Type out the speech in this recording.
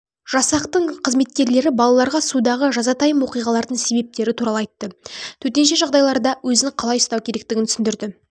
жасақтың қызметкерлері балаларға судағы жазатайым оқиғалардың себептері туралы айтты төтенше жағдайларда өзін қалай ұстау керектігін түсіндірді